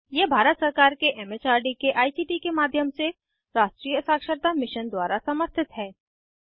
यह भारत सरकार के एम एच आर डी के आई सी टी के माध्यम से राष्ट्रीय साक्षरता मिशन द्वारा समर्थित है